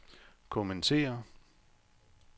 kommentere